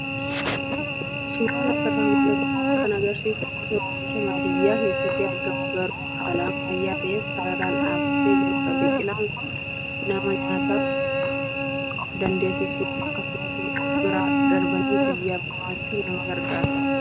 Suuraan asirraa mul'atu kun kan agarsiisu gosa oomishaa baadiyyaa keessatti argamu garuu haala ammayyaa ta'een sararaan dhaabbatee jirudha. Biqilaan kun nama nyaataan of dandeessisuu akkasumas of bira darbanii biyyaaf gumaachuuf nama gargaara.